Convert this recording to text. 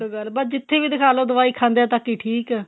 ਬੱਸ ਜਿੱਥੇ ਵੀ ਦਿਖਾ ਲੋ ਦਵਾਈ ਖਾਂਦਿਆਂ ਤੱਕ ਈ ਠੀਕ